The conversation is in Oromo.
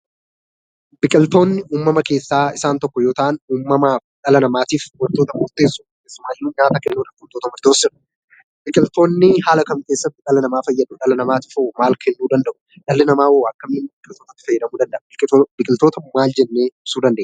Biqiltoonni uummama keessaa isaan tokko yoo ta'an uummamaaf dhala namaaf wantoota murteessoo keessumaayyuu nyaata biqiltoonni haala kam kessatti dhala namaa fayyadu? Dhala namaatiif hoo maal kennuu danda'u? Dhalli namaahoo akkamitti biqiltootatti fayyadamuu danda'a? Biqiltoota hoo maal jennee ibsuu dandeenya?